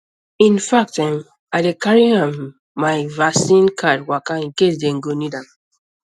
in fact um i dey carry um my vaccine um card waka in case dem go need am